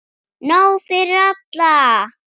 Nóg fyrir alla!